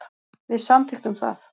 Við samþykktum það.